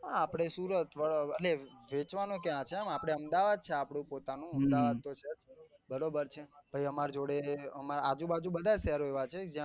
આપડે સુરત એટલે વેચવા નો ક્યાં જેમ આપડે અમદાવાદ છે પોતાનું અમદાવાદ તો છે બરોબર છે પછી અમાર જોડે અમાર આજુ બાજુ બધા જ શહેરો છે જેમાં